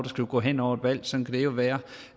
skulle gå hen over et valg sådan det jo være